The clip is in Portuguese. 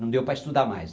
Não deu para estudar mais.